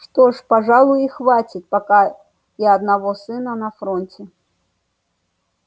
что ж пожалуй хватит пока и одного сына на фронте